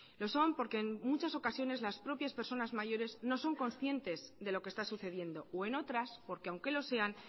lo son porque en muchas ocasiones las propias personas mayores no son conscientes de lo que esta sucediendo o en otras porque aunque lo sean